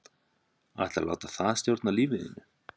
Ætlarðu að láta það stjórna lífinu?